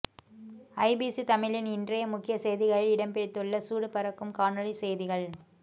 IBC தமிழின் இன்றைய முக்கிய செய்திகளில் இடம்பிடித்துள்ள சூடு பறக்கும் காணொலி செய்திகள்